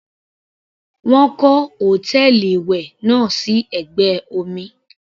Wọ́n kọ́ hòtẹ́ẹ̀lì ìwẹ̀ náà sí ẹ̀gbẹ́ omi.